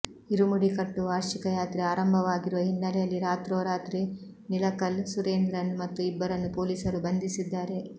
ಇರುಮುಡಿ ಕಟ್ಟು ವಾರ್ಷಿಕ ಯಾತ್ರೆ ಆರಂಭವಾಗಿರುವ ಹಿನ್ನೆಲೆಯಲ್ಲಿ ರಾತ್ರೋರಾತ್ರಿ ನಿಲಕಲ್ ಸುರೇಂದ್ರನ್ ಮತ್ತು ಇಬ್ಬರನ್ನು ಪೊಲೀಸರು ಬಂಧಿಸಿದ್ದಾರೆ